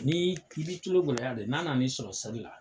Ni i bi tulogɛlɛya de, n'a nana i sɔrɔ seli la